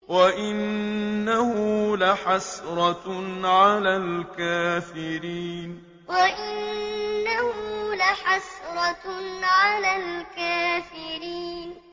وَإِنَّهُ لَحَسْرَةٌ عَلَى الْكَافِرِينَ وَإِنَّهُ لَحَسْرَةٌ عَلَى الْكَافِرِينَ